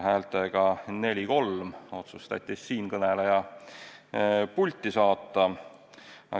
Häältega 4 : 3 otsustati siinkõneleja pulti saata.